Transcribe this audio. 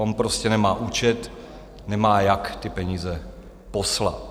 On prostě nemá účet, nemá jak ty peníze poslat.